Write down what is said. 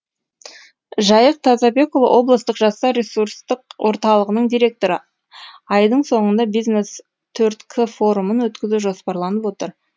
жайық тазабекұлы облыстық жастар ресурстық орталығының директоры айдың соңында бизнес төрт к форумын өткізу жоспарланып отыр